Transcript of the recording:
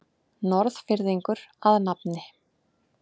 Norðfirðingur að nafni